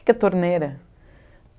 O que que é torneira?